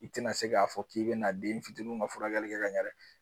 I tɛna se k'a fɔ k'i bɛ n'a den fitiniw ka furakɛli kɛ ka ɲɛ dɛ.